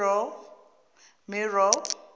mero